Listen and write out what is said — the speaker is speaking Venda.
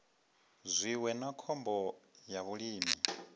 zwiwo na khombo ya vhulimi